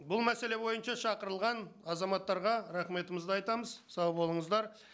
бұл мәселе бойынша шақырылған азаматтарға рахметімізді айтамыз сау болыңыздар